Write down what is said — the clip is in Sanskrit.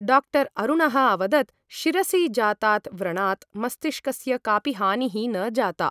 डाक्टर् अरुणः अवदत् शिरसि जातात् व्रणात् मस्तिष्कस्य कापि हानिः न जाता ।